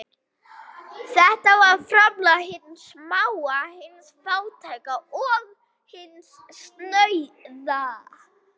Þetta var framlag hins smáa, hins fátæka og snauða.